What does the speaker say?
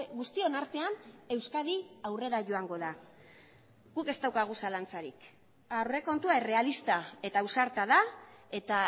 guztion artean euskadi aurrera joango da guk ez daukagu zalantzarik aurrekontua errealista eta ausarta da eta